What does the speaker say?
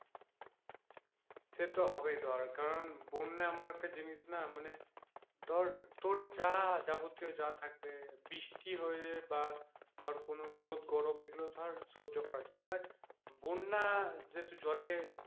সে তো হবেই ধর কারণ বন্যা এমন একটা জিনিস না মানে ধর তোর যা যাবতীয় যা থাকবে বৃষ্টি হয়ে বা ধর কোনো রৌদ গরমে এগুলো ধরে সহ্য করা যায় but বন্যা যেহেতু জলে,